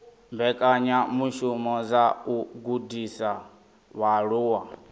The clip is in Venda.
mbekanyamishumo dza u gudisa vhaaluwa